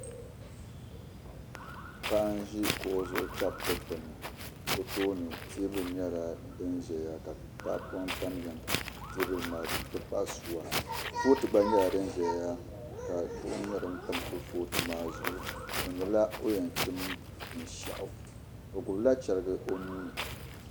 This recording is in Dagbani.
Paɣa n ʒi kuɣu zuɣu tabi dikpuni o tooni teebuli nyɛla din ʒɛya ka tahapoŋ tamya teebuli maa zuɣu n ti pahi suwa kurifooti gba nyɛla din ʒɛya ka duɣu tam kurifooti maa zuɣu o niŋla o ni yɛn chim binshaɣu o gbubila chɛrigi o nuuni